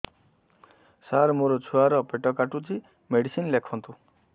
ସାର ମୋର ଛୁଆ ର ପେଟ କାଟୁଚି ମେଡିସିନ ଲେଖନ୍ତୁ